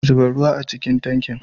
Zuba ruwa a cikin tankin